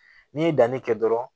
N'i ye danni kɛ dɔrɔn